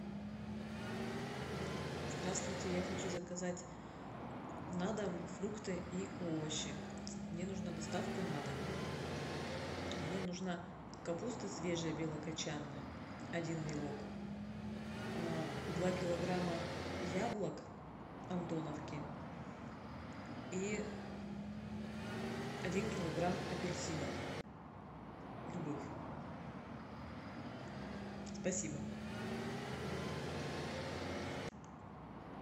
здравствуйте я хочу заказать на дом фрукты и овощи мне нужна доставка на дом мне нужна капуста свежая белокочанная один вилок два килограмма яблок антоновки и один килограмм апельсинов любых спасибо